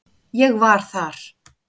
Ég var þar.